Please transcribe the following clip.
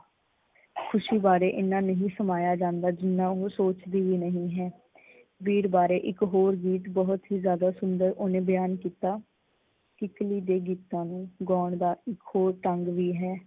ਖੁਸ਼ੀ ਬਾਰੇ ਇਨਾਂ ਨਹੀਂ ਸਮਾਇਆ ਜਾਂਦਾ ਜਿੰਨਾਂ ਓਹ ਸੋਚਦੀ ਵੀ ਨਹੀਂ ਹੈ। ਵੀਰ ਬਾਰੇ ਇੱਕ ਹੋਰ ਗੀਤ ਬਹੁਤ ਹੀ ਜ਼ਿਆਦਾ ਸੁੰਦਰ ਓਹਨੇ ਬਿਆਨ ਕੀਤਾ ਕਿੱਕਲੀ ਦੇ ਗੀਤਾਂ ਨੂੰ ਗਾਉਣ ਦਾ ਇੱਕ ਹੋਰ ਢੰਗ ਵੀ ਹੈ।